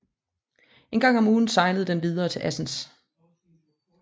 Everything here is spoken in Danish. En gang om ugen sejlede den videre til Assens